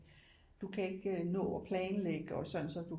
Du kan ikke nå at planlægge og sådan så du